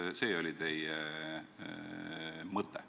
Kas see oli teie mõte?